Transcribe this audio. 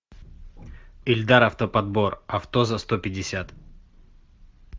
ильдар автоподбор авто за сто пятьдесят